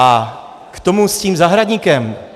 A k tomu s tím zahradníkem.